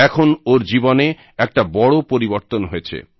এখন ওর জীবনে একটা বড় পরিবর্তন হয়েছে